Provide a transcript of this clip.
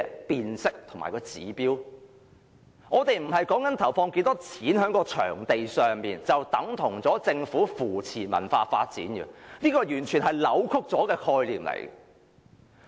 我所說的並非是政府投放了多少金錢在場地上，便等同是扶持文化發展，這完全是扭曲的概念。